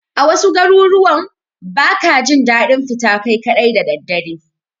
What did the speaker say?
A wasu garuruwan ba ka jin daɗin fita kai kaɗai da dare.